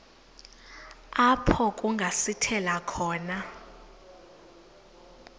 apho kungasithela khona